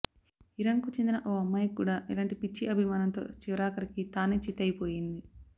ఇరాన్కు చెందిన ఓ అమ్మాయి కూడా ఇలాంటి పిచ్చి అభిమానంతో చివరాఖరికి తానే చిత్తయిపోయింది